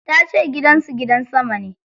Ta ce gidan su gidan sama ne.